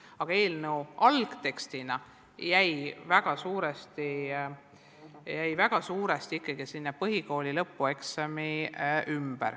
Aga eelnõu algtekstina on väga suuresti jäänud keskenduma ikkagi põhikooli lõpueksamile.